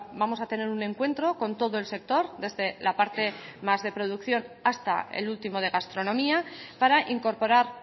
vamos a tener un encuentro con todo el sector desde la parte más de producción hasta el último de gastronomía para incorporar